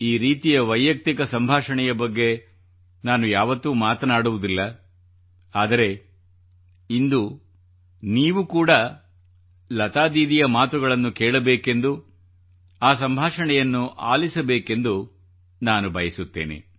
ಈ ರೀತಿಯ ವೈಯಕ್ತಿಕ ಸಂಭಾಷಣೆಯ ಬಗ್ಗೆ ನಾನು ಯಾವತ್ತೂ ಮಾತನಾಡುವುದಿಲ್ಲ ಆದರೆ ಇಂದು ನೀವು ಕೂಡಾ ಲತಾ ದೀದಿಯ ಮಾತುಗಳನ್ನು ಕೇಳಬೇಕೆಂದು ಆ ಸಂಭಾಷಣೆಯನ್ನು ಆಲಿಸಬೇಕೆಂದು ನಾನು ಬಯಸುತ್ತೇನೆ